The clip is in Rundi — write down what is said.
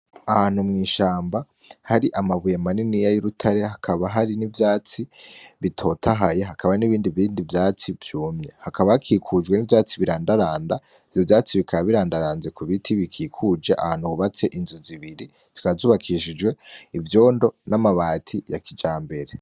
Ahantu mw’ishamba hari amabuye manini y’urutare hakaba hari n’ivyatsi bitotahaye hakaba hari n’ibindi vyatsi vyumye, hakaba hakikujwe n’ivyatsi birandaranda, ivyo vyatsi bikaba birandaranze ku biti bikikuje ahantu hubatse inzu zibiri zikaba zubakishijwe ivyondo n‘amabati ya kijambere.